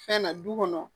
Fɛn na du kɔnɔ